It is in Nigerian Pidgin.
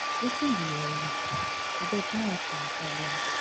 Wetin be your own, abeg no add to my problem.